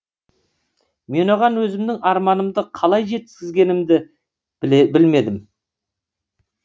мен оған өзімнің арманымды қалай жеткізгенімді білмедім